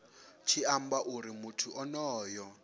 tshi amba uri muthu onoyo